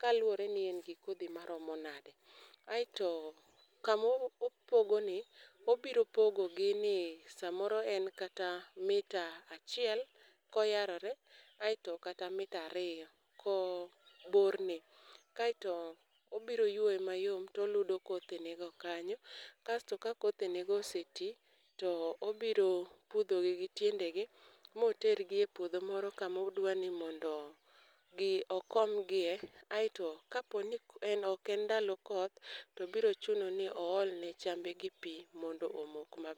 kaluwore ni en gi kodhi maromo nade. Aeto, kama opogoni obiro pogogi ni samoro en kata mita achiel koyarore, aeto kata mita ariyo ko bor ne. Kaeto obiro yueye mayom to oludo kothene go kanyo. Kasto ka kothene go oseti, to obiro pudhogi gi tiendegi, motergi e puodho moro kama odwa ni mondo gi, okomgi e, aeto ka po ni en, ok en ndalo koth, to biro chuno ni oolne chambe gi pi mondo omok maber.